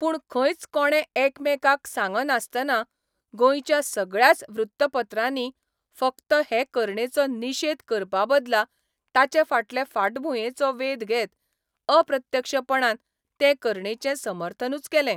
पूण खंयच कोणे एकामेकांक सांगनासतना गोंयच्या सगळ्याच वृत्तपत्रांनी फकत हे करणेचो निशेद करपाबदला ताचेफाटले फाटभुंयेचो वेध घेत अप्रत्यक्षपणान ते करणेचें समर्थनूच केलें.